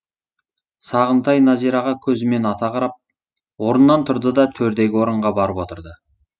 сағынтай назираға көзімен ата қарап орнынан тұрды да төрдегі орынға барып отырды